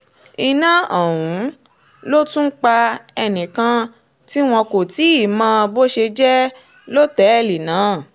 iná ọ̀hún ló tún pa ẹnìkan tí wọn kò tì í mọ́ bó ṣe jẹ́ lọ́tẹ̀ẹ̀lì náà